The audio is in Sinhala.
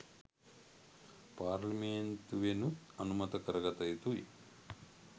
පාර්ලිමේන්තුවෙනුත් අනුමත කර ගත යුතුයි